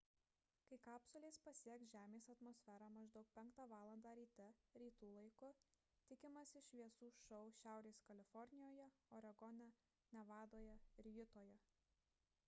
kai kapsulė pasieks žemės atmosferą maždaug 5 val. ryte rytų laiku tikimasi šviesų šou šiaurės kalifornijoje oregone nevadoje ir jutoje